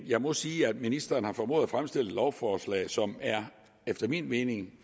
jeg må sige at ministeren har formået at fremstille et lovforslag som efter min mening er